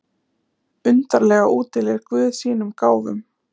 Undarlega útdeilir guð sínum gáfum.